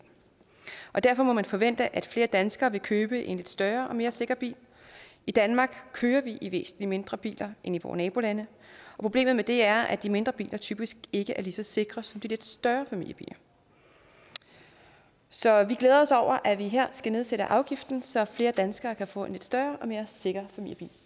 og derfor må man forvente at flere danskere vil købe en lidt større og mere sikker bil i danmark kører vi i væsentlig mindre biler end i vore nabolande og problemet ved det er at de mindre biler typisk ikke er lige så sikre som de lidt større familiebiler så vi glæder os over at vi her skal nedsætte afgiften så flere danskere kan få en lidt større og mere sikker familiebil